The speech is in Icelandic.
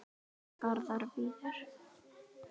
Garðar Víðir.